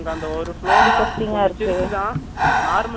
normal size தான் ஆனா அங்க எல்லாமே வச்சியிருப்பாங்க